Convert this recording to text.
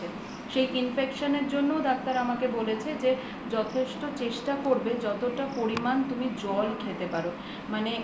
সেই infection এর জন্য ডাক্তার আমাকে বলেছে যে যথেষ্ট চেষ্টা করবে যতটা পরিমান তুমি জল খেতে পারো মানে